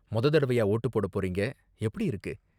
மொத தடவயா வோட்டு போட போறீங்க, எப்படி இருக்கு?